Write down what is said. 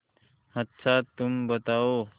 अच्छा तुम बताओ